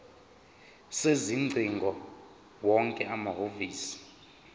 sezingcingo wonke amahhovisi